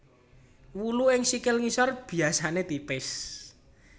Wulu ing sikil ngisor biasane tipis